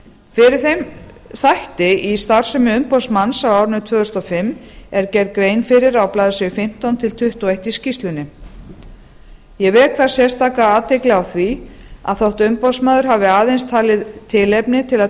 fyrir þeim þætti í starfsemi umboðsmann á árinu tvö þúsund og fimm er gerð grein fyrir á blaðsíðu fimmtán til tuttugu og eitt í skýrslunni ég vek þar sérstaka athygli á því að þótt umboðsmaður hafi aðeins talið tilefni til að